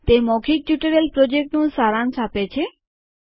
તે મૌખિક ટ્યુટોરીયલ પ્રોજેક્ટનું સારાંશ આપે છે